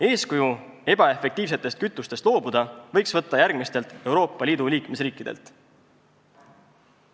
Eeskuju ebaefektiivsetest kütustest loobumisel võiks võtta järgmistest Euroopa Liidu liikmesriikidest.